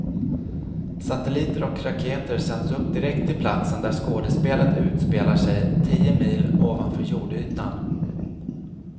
Satelliter och raketer sänds upp direkt till platsen där skådespelet utspelar sig, tio mil ovanför jordytan.